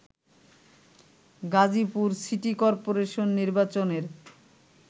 Gazipur city corporation নির্বাচনের